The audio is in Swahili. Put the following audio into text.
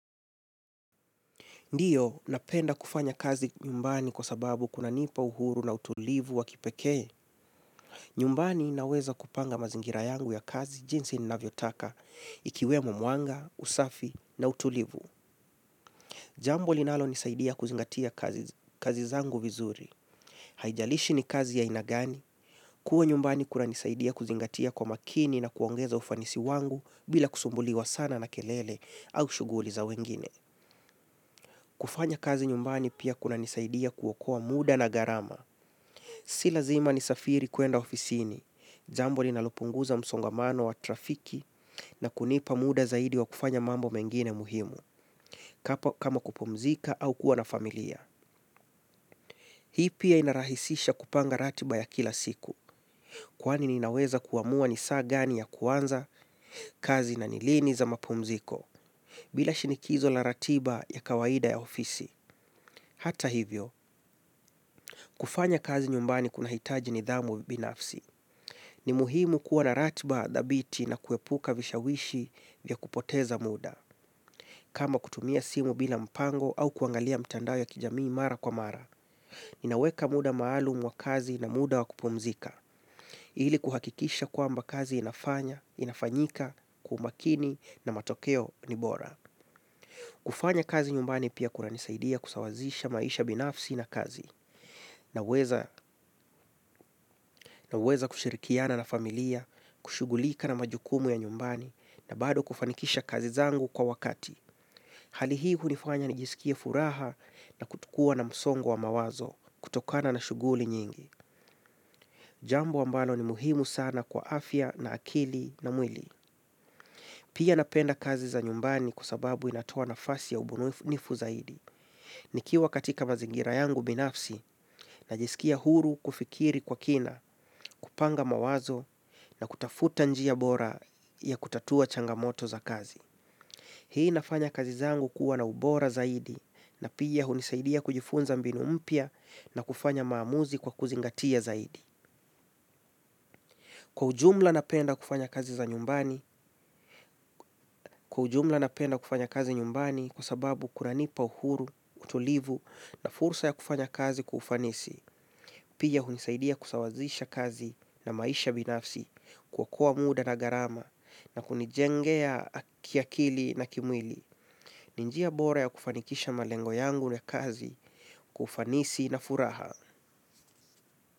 Ndio, napenda kufanya kazi nyumbani kwa sababu kuna nipa uhuru na utulivu wa kipekee. Nyumbani naweza kupanga mazingira yangu ya kazi, jinsi ninavyo taka ikiwemo mwanga, usafi na utulivu. Jambo linalonisaidia kuzingatia kazi zangu vizuri. Haijalishi ni kazi ya aina gani. Kuwa nyumbani kuna nisaidia kuzingatia kwa makini na kuongeza ufanisi wangu bila kusumbuliwa sana na kelele au shughuli za wengine. Kufanya kazi nyumbani pia kuna nisaidia kuokoa muda na gharama. Si lazima nisafiri kuenda ofisini. Jambo ninalopunguza msongamano wa trafiki na kunipa muda zaidi wa kufanya mambo mengine muhimu. Kama kupumzika au kuwa na familia. Hii pia inarahisisha kupanga ratiba ya kila siku. Kwani ninaweza kuamua ni saa gani ya kuanza kazi na ni lini za mapumziko. Bila shinikizo na ratiba ya kawaida ya ofisi. Hata hivyo, kufanya kazi nyumbani kuna hitaji nidhamu binafsi. Ni muhimu kuwa na ratiba dhabiti na kuepuka vishawishi vya kupoteza muda. Kama kutumia simu bila mpango au kuangalia mtandao ya kijamii mara kwa mara. Ninaweka muda maalumu wa kazi na muda wa kupumzika. Ili kuhakikisha kwamba kazi inafanya, inafanyika, kwa umakini na matokeo ni bora. Kufanya kazi nyumbani pia kunanisaidia kusawazisha maisha binafsi na kazi. Naweza, naweza kushirikiana na familia, kushughulika na majukumu ya nyumbani na bado kufanikisha kazi zangu kwa wakati. Hali hunifanya nijisikie furaha na kutokua na msongo wa mawazo kutokana na shuguli nyingi. Jambo ambalo ni muhimu sana kwa afya na akili na mwili. Pia napenda kazi za nyumbani kwa sababu inatoa nafasi ya ubunuifu zaidi. Nikiwa katika mazingira yangu binafsi, najiskia huru kufikiri kwa kina, kupanga mawazo na kutafuta njia bora ya kutatua changamoto za kazi. Hii inafanya kazi zangu kuwa na ubora zaidi na pia hunisaidia kujifunza mbinu mpya na kufanya maamuzi kwa kuzingatia zaidi. Kwa ujumla napenda kufanya kazi za nyumbani. Kwa ujumla napenda kufanya kazi nyumbani kwa sababu kunanipa uhuru, utulivu na fursa ya kufanya kazi kwa ufanisi. Pia hunisaidia kusawazisha kazi na maisha binafsi, kuokoa muda na gharama na kunijengea kiakili na kimwili. Ni njia bora ya kufanikisha malengo yangu ya kazi kwa ufanisi na furaha.